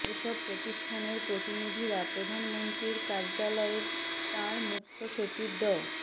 এসব প্রতিষ্ঠানের প্রতিনিধিরা প্রধানমন্ত্রীর কার্যালয়ে তাঁর মুখ্য সচিব ড